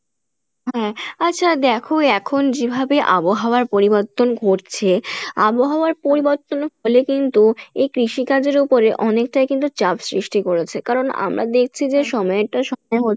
হ্যাঁ আচ্ছা দেখো এখন যেভাবে আবহাওয়ার পরিবর্তন ঘটছে আবহাওয়ার পরিবর্তনের ফলে কিন্তু এই কৃষি কাজের ওপরে অনেকটাই কিন্তু চাপ সৃষ্টি করেছে, কারন আমরা যে সময়ের টা সময়ে